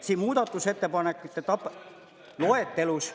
Siin muudatusettepanekute loetelus …